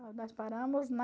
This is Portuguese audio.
Nós paramos na...